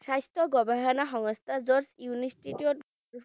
স্বাস্থ্য গৱেষণা সংস্থা য'ত UNESCO ত